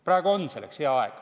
Praegu on selleks hea aeg.